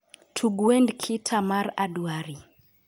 Tug wend khita mar adwari